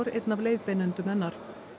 einn af leiðbeinendum hennar